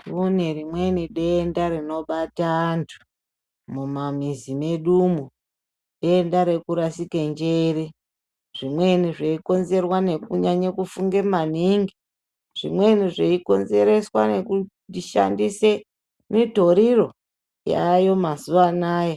Kune rimweni denda rinobata antu mumamizi medumwo, denda rekurasike njere, Zvimweni zveikonerwa nekunyanye kufunge maningi, zvimweni zveikonzereswa nekushandise mitoriro yaayo mazuva anaya.